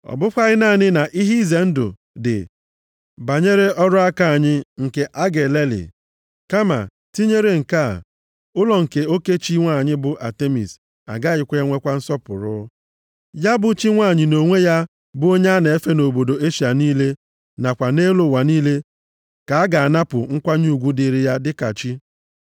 Ọ bụkwaghị naanị na ihe ize ndụ dị banyere ọrụ aka anyị nke a ga elelị kama tinyere nke a, ụlọ nke oke chi nwanyị bụ Atemis agaghị enwekwa nsọpụrụ. Ya bụ, chi nwanyị nʼonwe ya bụ onye a na-efe nʼobodo Eshịa niile nakwa nʼelu ụwa niile ka a ga-anapụ nkwanye ugwu dịrị ya dịka chi.”